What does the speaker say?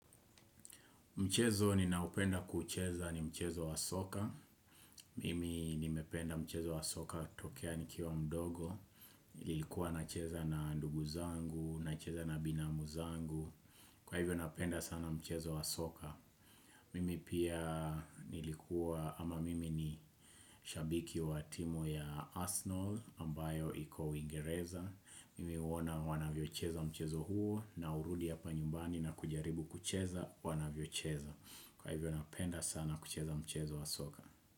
Mchezo ninaopenda kucheza ni mchezo wa soka. Mimi nimependa mchezo wa soka tokea nikiwa mdogo. Nilikuwa nacheza na ndugu zangu, nacheza na binamu zangu. Kwa hivyo napenda sana mchezo wa soka. Mimi pia nilikuwa ama mimi ni shabiki wa timu ya Arsenal ambayo iko uingereza Mimi huona wanavyocheza mchezo huo na hurudi hapa nyumbani na kujaribu kucheza wanavyocheza. Kwa hivyo napenda sana kucheza mchezo wa soka.